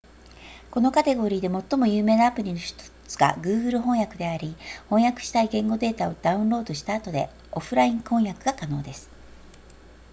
このカテゴリーで最も有名なアプリの1つが google 翻訳であり翻訳したい言語データをダウンロードした後でオフライン翻訳が可能です